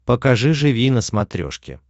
покажи живи на смотрешке